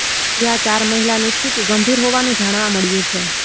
જ્યાં ચાર મહિલાની સ્થિતી ગંભીર હોવાનું જાણવા મળ્યું છે